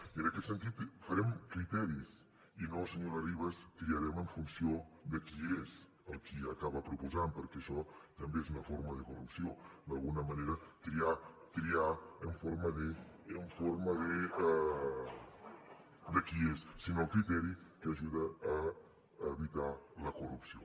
i en aquest sentit farem criteris i no senyora ribas triarem en funció de qui és el qui acaba proposant perquè això també és una forma de corrupció d’alguna manera triar triar en forma de qui és sinó el criteri que ajuda a evitar la corrupció